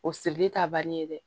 O sirili ta banni ye dɛ